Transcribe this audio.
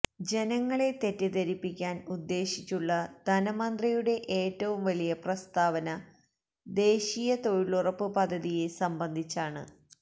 ജനങ്ങളെ തെറ്റിധരിപ്പിക്കാന് ഉദ്ദേശിച്ചുള്ള ധനമന്ത്രിയുടെ ഏറ്റവും വലിയ പ്രസ്താവന ദേശീയ തൊഴിലുറപ്പ് പദ്ധതിയെ സംബന്ധിച്ചാണ്